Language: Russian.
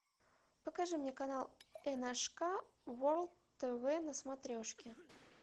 покажи мне канал ншк ворлд тв на смотрешке